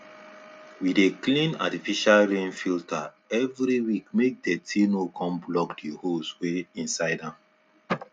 we dey clean artificial rain filter eveyweekmake dirty no con block th holes wey inside am